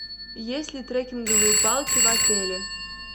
есть ли треккинговые палки в отеле